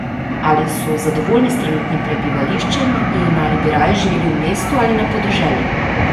Ali so zadovoljni s trenutnim prebivališčem in ali bi raje živeli v mestu ali na podeželju?